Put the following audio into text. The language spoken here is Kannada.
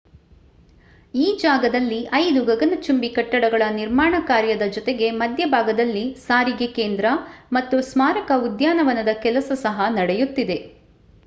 ಈ ಜಾಗದಲ್ಲಿ 5 ಗಗನಚುಂಬಿ ಕಟ್ಟಡಗಳ ನಿರ್ಮಾಣ ಕಾರ್ಯದ ಜೊತೆಗೆ ಮಧ್ಯಭಾಗದಲ್ಲಿ ಸಾರಿಗೆ ಕೇಂದ್ರ ಮತ್ತು ಸ್ಮಾರಕ ಉದ್ಯಾನವನದ ಕೆಲಸ ಸಹ ನಡೆಯುತ್ತಿದೆ